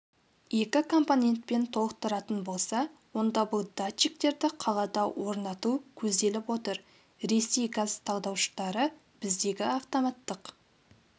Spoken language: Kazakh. екі компонентпен толықтыратын болса онда бұл датчиктерді қалада орнату көзделіп отыр ресей газ талдауыштары біздегі автоматтық